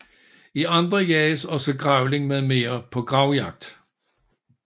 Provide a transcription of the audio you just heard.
I andre jages også grævling mm på gravjagt